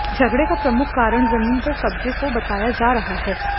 झगड़े का प्रमुख कारण जमीन पर कब्जे को बताया जा रहा है